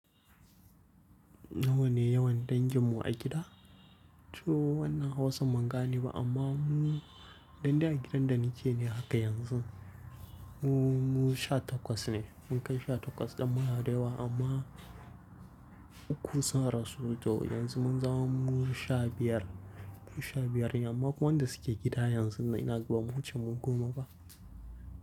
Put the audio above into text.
Nawa ne yawan danginmu a gida? To wannan Hausan bangane ba amma mu inde a gidan da nike ne haka yanzu. Mu, mu sha takwas ne. Mun kai sha takwas ɗan muna da yawa amma ukun sun rasu. To yanzu mun zama mu sha biyar. Mu sha biyar amma wanda suke gida yanzu ina gaba mu wuce mu goma ba.